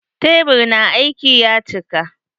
Tebur na aiki ya cika.